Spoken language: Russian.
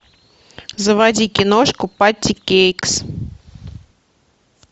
заводи киношку патти кейкс